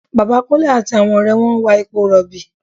Bàbá Kúnlé àti àwọn ọ̀rẹ́ wọn ń wa epo rọ̀bì